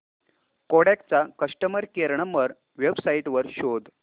Kodak चा customer care number website वर शोध